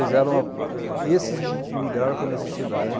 Eles eram, eh esses imi imigraram por necessidade.